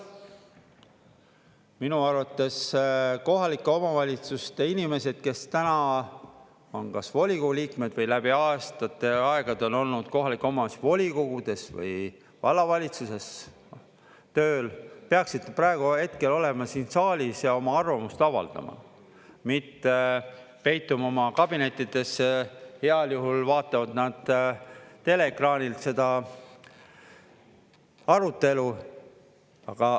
Minu arvates kohalike omavalitsuste inimesed, kes täna on kas volikogu liikmed või läbi aastate, aegade on olnud kohaliku omavalitsuse volikogudes või vallavalitsuses tööl, peaksid praegu, hetkel olema siin saalis ja oma arvamust avaldama, mitte peituma oma kabinettidesse, heal juhul vaatavad nad teleekraanilt seda arutelu.